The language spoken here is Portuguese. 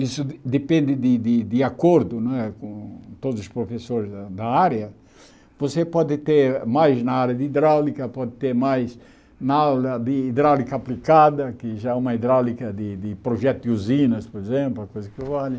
isso depende de de acordo né com todos os professores da da área, você pode ter mais na área de hidráulica, pode ter mais na área de hidráulica aplicada, que já é uma hidráulica de de projeto de usinas, por exemplo, a coisa que vale.